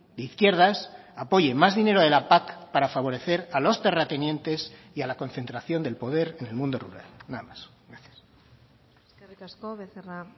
de izquierdas apoye más dinero de la pac para favorecer a los terratenientes y a la concentración del poder en el mundo rural nada más gracias eskerrik asko becerra